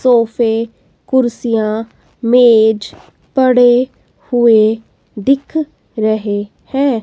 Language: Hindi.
सोफे कुर्सियां मेज पड़े हुए दिख रहे हैं।